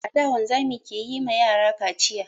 A da, wanzami ke yi ma yara kaciya.